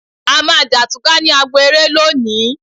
A máa jà túká ní agbo eré lónìí